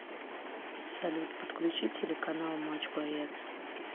салют подключи телеканал матч боец